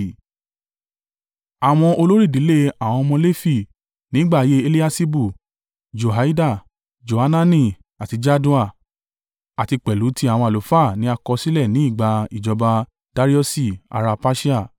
Àwọn olórí ìdílé àwọn ọmọ Lefi ní ìgbà ayé Eliaṣibu, Joiada, Johanani àti Jaddua, àti pẹ̀lú ti àwọn àlùfáà ni a kọ sílẹ̀ ní ìgbà ìjọba Dariusi ará Persia.